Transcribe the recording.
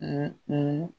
o